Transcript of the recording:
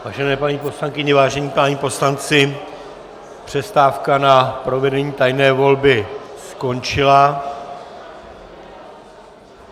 Vážené paní poslankyně, vážení páni poslanci, přestávka na provedení tajné volby skončila.